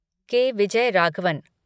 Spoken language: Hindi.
के. विजयराघवन